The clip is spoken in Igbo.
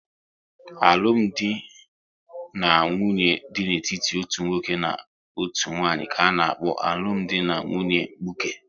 Alụmdi na nwunye dị n'etiti otu nwoke na otu nwanyị ka-ana kpo alụmdi na nwunye mkpuke